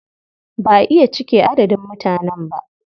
Ba a iya cike adadin mutanen ba.